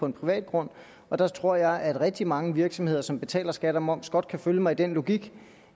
en privat grund og der tror jeg at rigtig mange virksomheder som betaler skat og moms godt kan følge mig i den logik